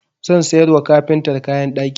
Zan sayar wa kafintar kayan ɗaki.